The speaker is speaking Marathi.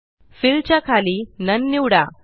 फिल च्या खाली नोन निवडा